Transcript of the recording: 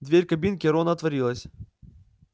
дверь кабинки рона отворилась